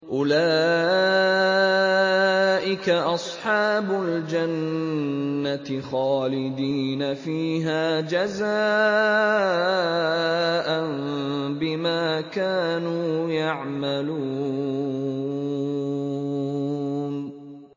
أُولَٰئِكَ أَصْحَابُ الْجَنَّةِ خَالِدِينَ فِيهَا جَزَاءً بِمَا كَانُوا يَعْمَلُونَ